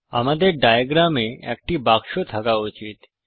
আমাদের ড়ায়াগ্রাম এ একটি বাক্স থাকা উচিত্